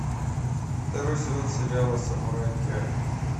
второй сезон сериала самурай ке